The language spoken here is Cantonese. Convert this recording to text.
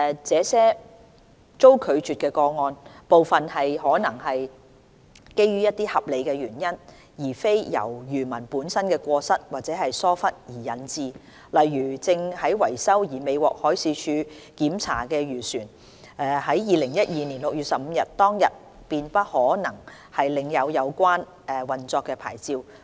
這些被拒個案，部分有可能是基於一些合理的原因，而非因漁民本身的過失或疏忽導致不符合規定，例如一些正在維修而未獲海事處檢查的漁船，在2012年6月15日當日便不可能領有有效的運作牌照。